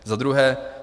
Za druhé.